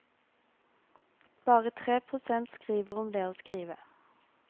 Bare tre prosent skriver om det å skrive.